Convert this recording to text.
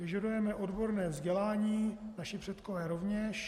Požadujeme odborné vzdělání, naši předkové rovněž.